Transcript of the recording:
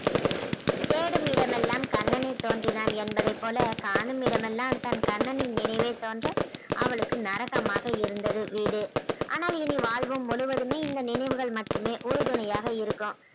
தேடும் இடமெல்லாம் கண்ணனே தோன்றினான் என்பதைப் போல காணும் இடமெல்லாம் தன் கண்ணனின் நினைவே தோன்ற அவளுக்கு நரகமாக இருந்தது வீடு ஆனால் இனி வாழ்வு முழுவதுமே இந்த நினைவுகள் மட்டுமே உறுதுணையாக இருக்கும்